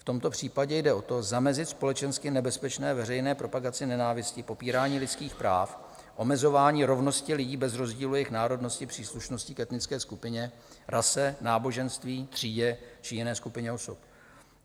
V tomto případě jde o to zamezit společensky nebezpečné veřejné propagaci nenávisti, popírání lidských práv, omezování rovnosti lidí bez rozdílu jejich národnosti, příslušnosti k etnické skupině, rase, náboženství, třídě či jiné skupině osob.